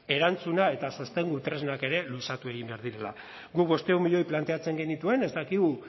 erantzuna eta sostengu tresnak ere luzatu egin behar direla guk bostehun milioi planteatzen genituen ez dakigu